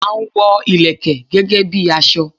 A n wo Ìlẹ̀kẹ̀ gẹ́gẹ́ bi aso